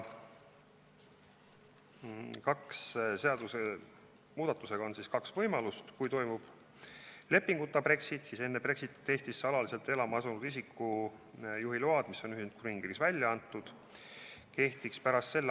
Seadusemuudatusega on kaks võimalust: esiteks, kui toimub leppeta Brexit, siis enne Brexitit Eestisse alaliselt elama asunud isiku juhiluba, mis on Ühendkuningriigis välja antud, kehtiks pärast s.